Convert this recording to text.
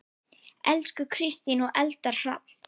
Elsku Kristín og Eldar Hrafn.